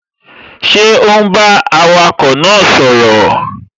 Ṣé ò ún bá awakọ̀ náà sọ̀rọ̀?